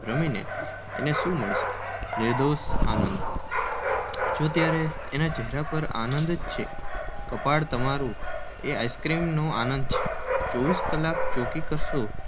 રમીને એને શી પ્રાપ્તિ થવાની છે? નિર્ભેળ, નિર્દોષ આનંદ જો અત્યારે એના ચહેરા પર આનંદ જ છે ને! કપાળ તમારું. એ આનંદ આઇસ્ક્રીમનો છે. ચોવીસ કલાક ચોકી કરશો